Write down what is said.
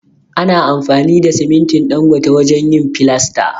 Ana amfani da simintin Dangote wajen yin filasta.